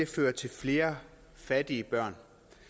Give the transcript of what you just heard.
fører til flere fattige børn